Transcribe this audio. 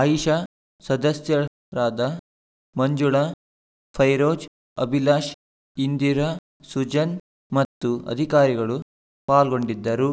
ಆಯಿಷಾ ಸದಸ್ಯರಾದ ಮಂಜುಳ ಫೈರೋಜ್‌ ಅಭಿಲಾಷ್‌ ಇಂದಿರಾ ಸುಜನ್‌ ಮತ್ತು ಅಧಿಕಾರಿಗಳು ಪಾಲ್ಗೊಂಡಿದ್ದರು